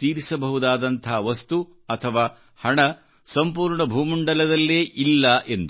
ತೀರಿಸಬಹುದಾದಂಥ ವಸ್ತು ಅಥವಾ ಹಣಸಂಪೂರ್ಣ ಭೂಮಂಡಲದಲ್ಲೇ ಇಲ್ಲ ಎಂದು